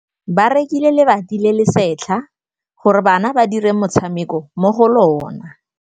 Ba rekile lebati le le setlha gore bana ba dire motshameko mo go lona.